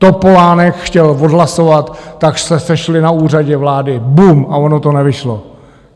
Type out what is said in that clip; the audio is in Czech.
Topolánek chtěl odhlasovat, tak se sešli na Úřadě vlády... bum a ono to nevyšlo.